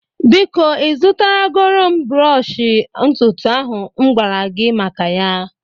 Biko ị zụtara goro m brọsh ntutu ahu m m gwara gị maka ya